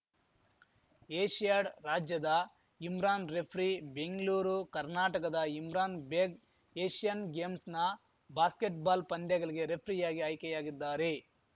Asiad ರಾಜ್ಯದ Imran referee Bengaluru ಕರ್ನಾಟಕದ Imran Baig Asian ಗೇಮ್ಸ್‌ನ ಬಾಸ್ಕೆಟ್‌ಬಾಲ್‌ ಪಂದ್ಯಗಲಿಗೆ ರೆಫ್ರಿಯಾಗಿ ಆಯ್ಕೆಯಾಗಿದ್ದಾರೆ